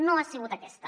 no ha sigut aquesta